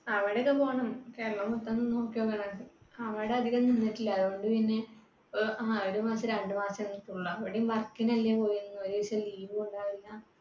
അവിടെയൊക്ക പോണം അവിടെ അധികം നിന്നിട്ടില്ല അതുകൊണ്ടു പിന്നെ ങ്ഹാ ഒരു മാസം രണ്ടു മാസം പിന്നെ work നു അല്ലെ പോയിരുന്നെ ഒരു ദിവസം leave ഉം ഉണ്ടാവില്ല